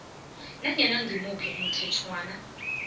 nanyana ngimuphi umthetjhwana